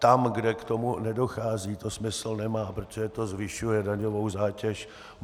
Tam, kde k tomu nedochází, to smysl nemá, protože to zvyšuje daňovou zátěž.